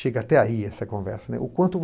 Chega até aí essa conversa, né. O quanto